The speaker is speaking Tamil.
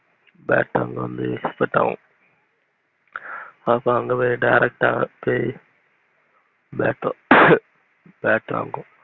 bat அங்க இருந்து export ஆகும் அங்க போய direct ஆஹ் bat bat வாங்குவோம்